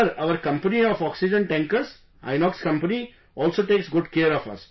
Sir, our Company of oxygen tankers, Inox Company also takes good care of us